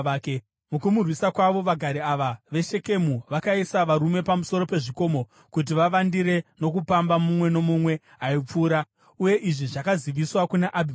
Mukumurwisa kwavo, vagari ava veShekemu vakaisa varume pamusoro pezvikomo kuti vavandire nokupamba mumwe nomumwe aipfuura, uye izvi zvakaziviswa kuna Abhimereki.